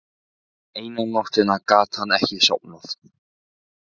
Eina nóttina gat hann ekki sofið.